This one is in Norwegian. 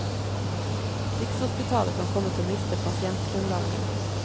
Rikshospitalet kan komme til å miste pasientgrunnlaget.